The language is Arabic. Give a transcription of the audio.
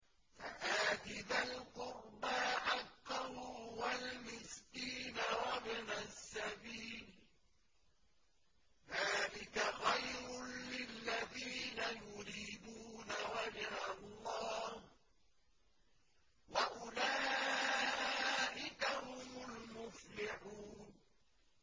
فَآتِ ذَا الْقُرْبَىٰ حَقَّهُ وَالْمِسْكِينَ وَابْنَ السَّبِيلِ ۚ ذَٰلِكَ خَيْرٌ لِّلَّذِينَ يُرِيدُونَ وَجْهَ اللَّهِ ۖ وَأُولَٰئِكَ هُمُ الْمُفْلِحُونَ